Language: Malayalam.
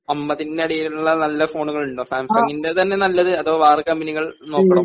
50 ന്റെ അടിയിലുള്ള നല്ല ഫോണുകൾ ഉണ്ടോ? സാംസങ്ങിനെ തന്നെ നല്ലത് അതെ വേറെ കമ്പനികൾ നോക്കണോ?